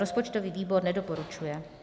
Rozpočtový výbor nedoporučuje.